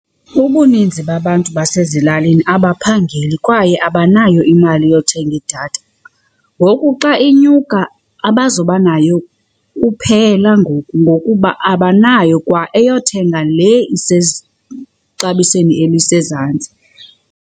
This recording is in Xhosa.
Ubuninzi babantu basezilalini abaphangeli kwaye abanayo imali yothenga idatha. Ngoku xa inyuka abazubanayo kuphela ngoku ngokuba abanayo kwaeyothenga le elisezantsi.